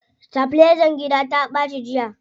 Sitabilizan gida ta ɓaci jiya.